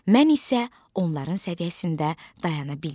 Mən isə onların səviyyəsində dayana bilmirəm.